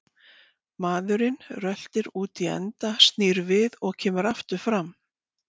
Maðurinn röltir út í enda, snýr við og kemur aftur fram.